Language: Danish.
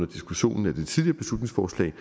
diskussionen af det tidligere beslutningsforslag